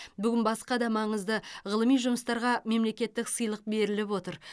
бүгін басқа да маңызды ғылыми жұмыстарға мемлекеттік сыйлық беріліп отыр